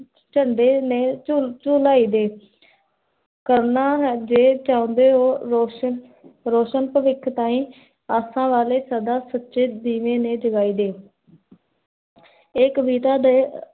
ਚੰਦੇ ਨੇ ਚੁਲ ਚੁਲਾਈ ਦੇ ਕਰਨਾ ਜੇ, ਚਾਉਂਦੇ ਹੋ ਰੌਸ਼ਨ, ਰੋਸ਼ਨ ਭਵਿਖ ਤਾਹੀਂ, ਆਸਾਨ ਵਾਲੇ ਸਚੇ, ਸਚੇ ਦੀਵੇ ਨੇ ਜਗਾਈ ਦੇ ਏ ਕਵਿਤਾ ਦੇ